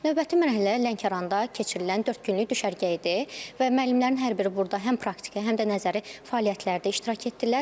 Növbəti mərhələ Lənkəranda keçirilən dörd günlük düşərgə idi və müəllimlərin hər biri burada həm praktiki, həm də nəzəri fəaliyyətlərdə iştirak etdilər.